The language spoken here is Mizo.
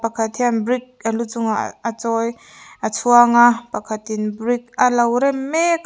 pakhat hian brick a lu chungah a chawi a chhuanga pakhatin brick alo rem mek a--